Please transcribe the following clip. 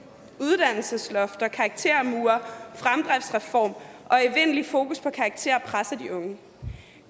uddannelseslofter karaktermure fremdriftsreform og evindeligt fokus på karakterer presser de unge